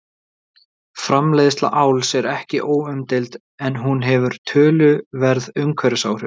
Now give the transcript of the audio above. Framleiðsla áls er ekki óumdeild en hún hefur töluverð umhverfisáhrif.